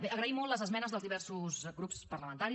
bé agraïm molt les esmenes dels diversos grups parlamentaris